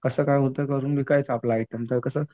कसं काय होतंय करून विकायचं आपलं आयटम तर कसं.